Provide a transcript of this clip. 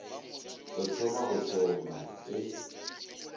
o thoma go šoma e